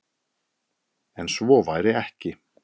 En svo væri ekki.